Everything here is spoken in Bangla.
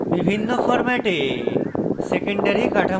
বিভিন্ন ফরম্যাটে secondary কাঠামো দেখা